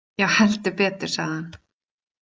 Já, heldur betur, sagði hann.